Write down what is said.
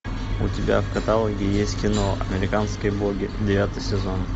у тебя в каталоге есть кино американские боги девятый сезон